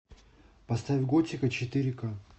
поставь готика четыре ка